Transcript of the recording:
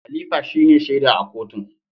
Khalifa shine shaida a kotun.